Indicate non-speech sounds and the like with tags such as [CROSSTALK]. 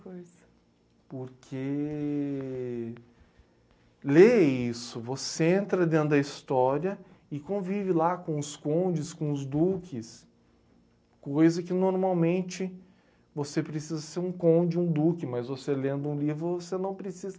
[UNINTELLIGIBLE] Porque ler é isso, você entra dentro da história e convive lá com os condes, com os duques, coisa que normalmente você precisa ser um conde, um duque, mas você lendo um livro você não